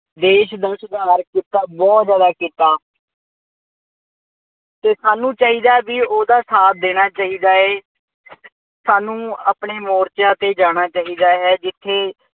ਦੇਸ਼ ਨੂੰ ਸੁਧਾਰ ਕੀਤਾ ਬਹੁਤ ਕੀਤਾ। ਅਤੇ ਸਾਨੂੰ ਚਾਹੀਦਾ ਹੈ ਬਈ ਉਹਦਾ ਸਾਥ ਦੇਣਾ ਚਾਹੀਦਾ ਹੈ। ਸਾਨੂੰ ਆਪਣੇ ਮੋਰਚਿਆਂ ਤੇ ਜਾਣਾ ਚਾਹੀਦਾ ਹੈ ਜਿੱਥੇ